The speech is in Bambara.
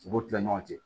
U b'o kila ɲɔgɔn cɛ